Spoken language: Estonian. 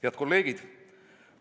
Head kolleegid!